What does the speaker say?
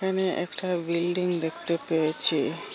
এখানে একটা বিল্ডিং দেখতে পেয়েছি।